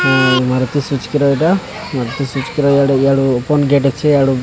Maruti Suzuki ର ଏଟା Maruti Suzuki ରୁ ୟାଡୁ ଓପନ ଗେଟ ଅଛି ୟାଡୁ।